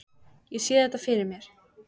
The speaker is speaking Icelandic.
Ég sé þetta fyrir mér.